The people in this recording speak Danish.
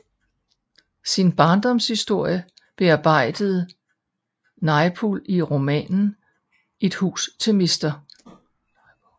Sin barndomshistorie bearbejdede Naipaul i romanen Et hus til mr